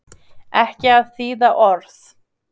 ekki að þýða orð.